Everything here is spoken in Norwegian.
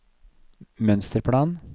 mønsterplan